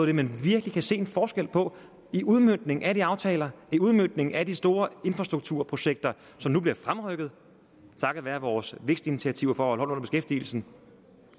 det man virkelig kan se en forskel på i udmøntning af de aftaler i udmøntning af de store infrastrukturprojekter som nu bliver fremrykket takket være vores vækstinitiativer for at holde beskæftigelsen